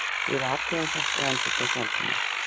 Við athugum þetta- endurtók Valdimar.